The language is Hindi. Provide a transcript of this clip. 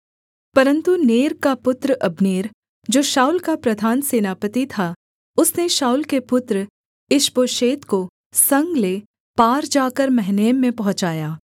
परन्तु नेर का पुत्र अब्नेर जो शाऊल का प्रधान सेनापति था उसने शाऊल के पुत्र ईशबोशेत को संग ले पार जाकर महनैम में पहुँचाया